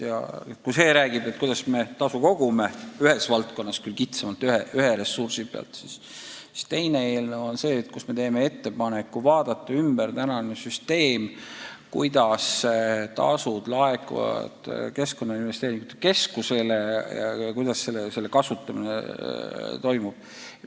Tänane eelnõu räägib sellest, kuidas me tasu kogume – ühes valdkonnas küll kitsamalt, vaid üht ressurssi käsitledes –, teises eelnõus me teeme ettepaneku muuta kehtivat süsteemi, kuidas tasud laekuvad Keskkonnainvesteeringute Keskusele ja kuidas selle raha kasutamine toimub.